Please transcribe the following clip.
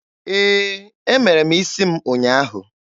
Ee, Emere m isi m ụnyaahụ.